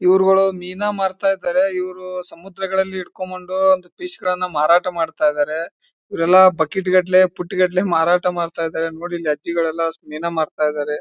ಇವರ್ಗಳು ಮೀನಾ ಮಾರ್ತಾಇದಾರೆ ಇವ್ರೂ ಸಮುದ್ರಗಳಲ್ಲಿ ಇಡ್ಕೊಂಬಂಡೂ ದ್ ಫಿಶ್ಗಲ್ಲನ್ನ ಮಾರಾಟ ಮಾಡ್ತಾಇದ್ದಾರೆ ಇವರೆಲ್ಲಾ ಬಕೆಟ್ಗಟ್ಟಲೆ ಬುಟ್ಟಿಗಟ್ಟಲೆ ಮಾರಾಟ ಮಾಡ್ತಾ ಇದ್ದಾರೆ ನೋಡಿಲ್ಲೆ ಅಜ್ಜಿಗಲ್ಲೆಲ್ಲ ಷ್ಟು ಮೀನಾ ಮಾರ್ತಾಯಿದ್ದರೆ.